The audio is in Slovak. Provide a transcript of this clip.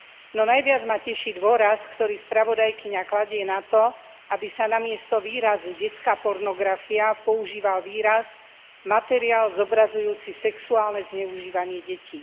No najviac ma teší dôraz, ktorý spravodajkyňa kladie na to, aby sa namiesto výrazu detská pornografia, požíval výraz materiál zobrazujúci sexuálne zneužívanie detí.